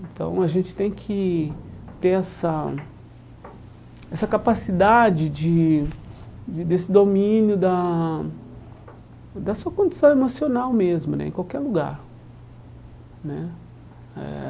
Então a gente tem que ter essa essa capacidade de de desse domínio da da sua condição emocional mesmo né, em qualquer lugar né eh.